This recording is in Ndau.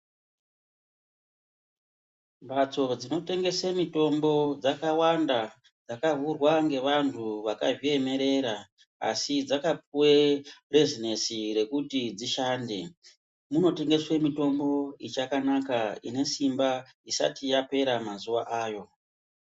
Mbatso dzinotengese mitombo dzakawanda dzakavhurwa ngevanhu vakazviemerera asi dzakapuwe bhezinesi rekuti dzishande. Muno tengeswe mitombo ichakanaka, ine simba isati yapera mazuwa ayo.